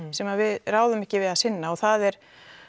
sem við ráðum ekki við að sinna það er